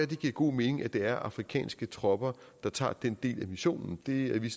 det giver god mening at det er afrikanske tropper der tager den del af missionen det er vi